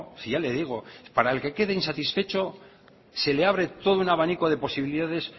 si ya le digo para el que quede insatisfecho se le abre todo un abanico de posibilidades